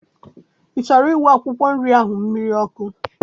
I chọrọ iwu akwụkwọ nri ahụ mmiri ọkụ?